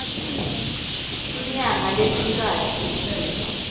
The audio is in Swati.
tinyanga letintsatfu ngemuva